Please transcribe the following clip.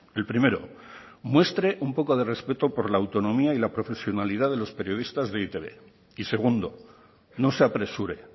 el primero muestre un poco de respeto por la autonomía y la profesionalidad de los periodistas de e i te be y segundo no se apresure